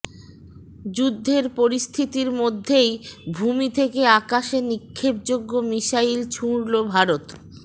যুদ্ধের পরিস্থিতির মধ্যেই ভূমি থেকে আকাশে নিক্ষেপযোগ্য মিসাইল ছুঁড়ল ভারত